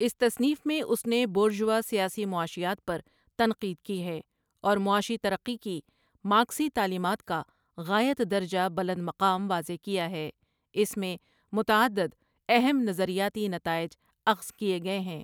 اس تصنیف میں اس نے بورژوا سیاسی معاشیات پرتنقید کی ہے اور معاشی ترقی کی مارکسی تعلیمات کاغایت درجہ بلند مقام واضح کیا ہے اس میں متعدد اہم نظریاتی نتائج اخد کیے گئے ہیں ۔